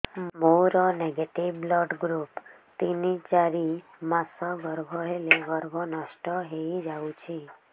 ମୋର negative blood group ତିନ ଚାରି ମାସ ଗର୍ଭ ହେଲେ ଗର୍ଭ ନଷ୍ଟ ହେଇଯାଉଛି